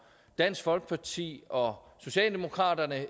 dansk folkeparti og socialdemokraterne